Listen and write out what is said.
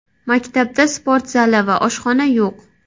Maktabda sport zali va oshxona yo‘q.